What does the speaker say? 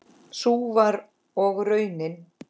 Sú var og raunin.